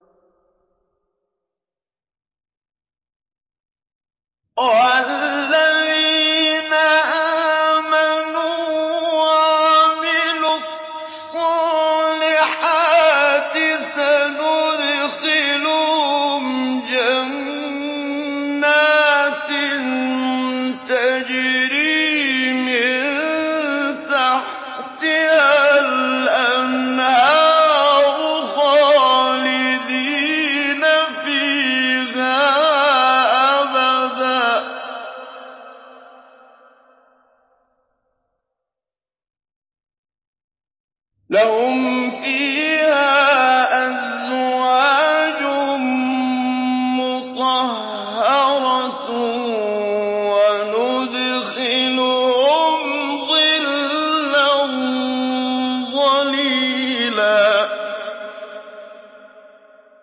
وَالَّذِينَ آمَنُوا وَعَمِلُوا الصَّالِحَاتِ سَنُدْخِلُهُمْ جَنَّاتٍ تَجْرِي مِن تَحْتِهَا الْأَنْهَارُ خَالِدِينَ فِيهَا أَبَدًا ۖ لَّهُمْ فِيهَا أَزْوَاجٌ مُّطَهَّرَةٌ ۖ وَنُدْخِلُهُمْ ظِلًّا ظَلِيلًا